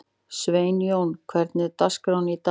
Sveinjón, hvernig er dagskráin í dag?